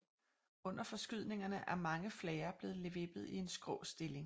Under forskydningerne er mange flager blevet vippet i en skrå stilling